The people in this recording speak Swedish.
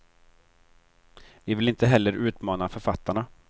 Vi vill inte heller utmana författarna.